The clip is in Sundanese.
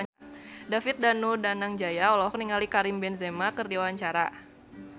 David Danu Danangjaya olohok ningali Karim Benzema keur diwawancara